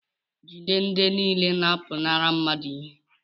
jide ndị niile na-apụnara mmadụ ihe